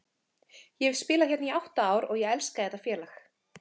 Ég hef spilað hérna í átta ár og ég elska þetta félag.